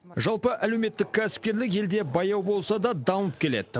жалпы әлеуметтік кәсіпкерлік елде баяу болса да дамып келеді